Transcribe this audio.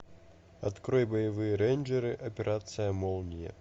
открой боевые рейнджеры операция молния